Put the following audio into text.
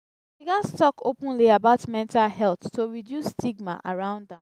we gats talk openly about mental health to reduce stigma around am.